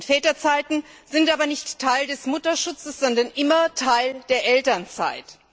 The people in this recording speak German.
Väterzeiten sind aber nicht Teil des Mutterschutzes, sondern immer Teil der Elternzeit.